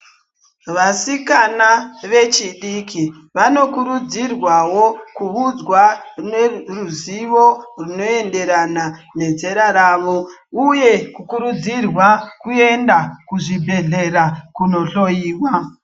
Kuudza a vechifiki vanokurudzirwa Kuudzwa ruzivo zvinoenderana nezera rawo uye kukurudzirwa kuenda kuzvibhedhlera kundohloiwa.